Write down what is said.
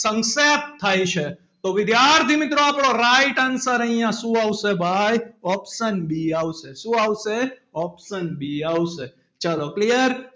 સંક્ષેપ્ત થાય છે. તો વિદ્યાર્થી મિત્રો આપડો right answer અહિયાં શું આવશે ભાઈ option B આવશે શું આવશે option B આવશે ચાલો clear